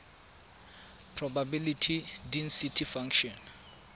probability density function